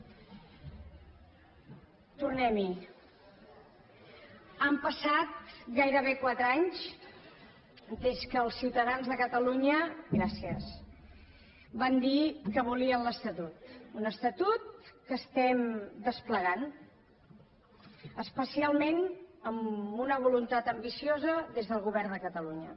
tornem hi han passat gairebé quatre anys des que els ciutadans de catalunya gràcies van dir que volien l’estatut un estatut que estem desplegant especialment amb una voluntat ambiciosa des del govern de catalunya